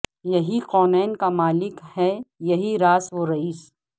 یہی کونین کا مالک ہے یہی راس و رئیس